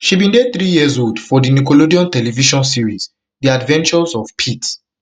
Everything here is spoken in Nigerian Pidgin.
she bin dey threeyearsold for di nickelodeon television series the adventures of pete pete